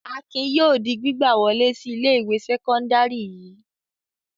Akin yóò di gbígbà wọlé sí ilé-ìwé sẹ́kọ́ndárì yìí.